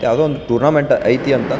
ಯಾವುದೊ ಒಂದು ಟೊರ್ನಾಮೆಂಟ್ ಐತೆ --